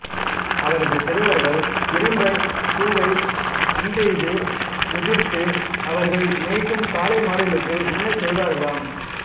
அவரது சிறுவர்கள் இரும்பைப் பூவை அம்பெய்து உதிர்த்து அவர்கள் மேய்க்கும் காளைமாடுகளை உண்ணச் செய்வார்களாம்